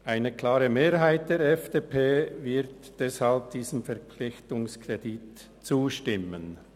Eine klare Mehrheit der FDP-Fraktion wird deshalb diesem Verpflichtungskredit zustimmen.